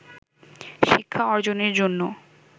শিক্ষা অর্জনের জন্য